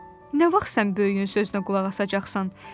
Nə vaxt sən böyüyün sözünə qulaq asacaqsan?